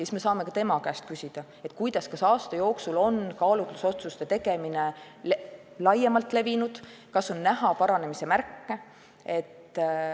Siis saame tema käest küsida, kas aasta jooksul on kaalutlusotsuste tegemine laiemalt levinud ja kas on näha paranemise märke.